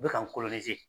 U bɛ ka n